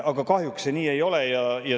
Aga kahjuks see nii ei ole.